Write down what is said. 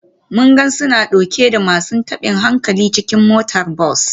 Mun ga suna dauke da masu tabin hankali cikin motar bas.